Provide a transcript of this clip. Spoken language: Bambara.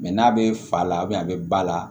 n'a bɛ fa la a bɛ ba la